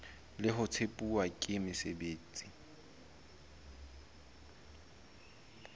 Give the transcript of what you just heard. le ho tempuwa ke mosebeletsi